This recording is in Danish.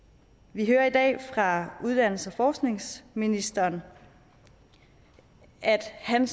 vi hører i dag fra uddannelses og forskningsministeren at han